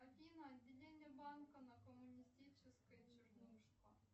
афина отделение банка на коммунистической чернушка